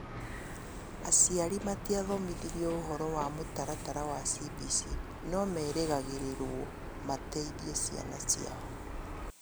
Aciari matiathomithirio ũhoro wa mũtaratara wa CBC no meragĩrĩrwo mateithie ciana ciao